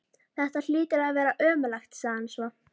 Þetta hlýtur að vera ömurlegt sagði hann svo.